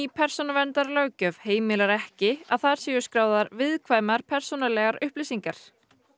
persónuverndarlöggjöf heimilar ekki að þar séu skráðar viðkvæmar persónulegar upplýsingar